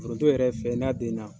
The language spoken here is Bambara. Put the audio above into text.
Foronto yɛrɛ fɛn ye, n'a den na